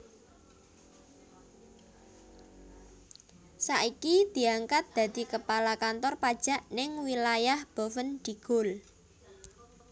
Saiki diangkat dadi kepala kantor pajak ning wilayah Boven Digul